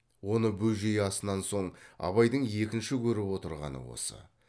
оны бөжей асынан соң абайдың екінші көріп отырғаны осы